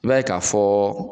I b'a ye ka fɔ